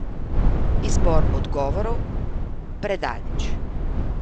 Izbor odgovorov: 'Predaleč.